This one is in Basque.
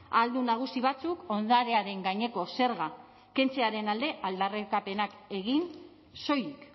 ahaldun nagusi batzuk ondarearen gaineko zerga kentzearen alde aldarrikapenak egin soilik